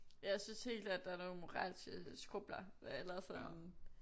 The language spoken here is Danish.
Ja jeg synes helt klart der er nogle moralske skrubler eller sådan